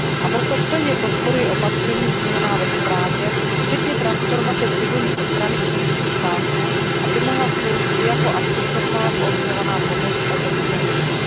A proto plně podporuji opatření zmíněná ve zprávě, včetně transformace civilní ochrany členských států, aby mohla sloužit i jako akceschopná koordinovaná pomoc Evropské unie.